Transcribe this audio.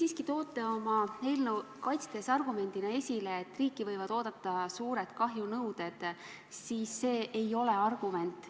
Kui te toote oma eelnõu kaitstes argumendina välja, et riiki võivad ees oodata suured kahjunõuded, siis see ei ole argument.